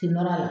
Kin nɔrɔ la